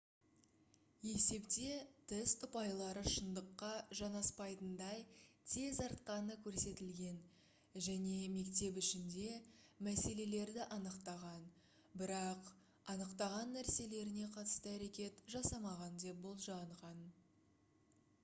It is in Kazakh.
есепте тест ұпайлары шындыққа жанаспайтындай тез артқаны көрсетілген және мектеп ішінде мәселелерді анықтаған бірақ анықтаған нәрселеріне қатысты әрекет жасамаған деп болжанған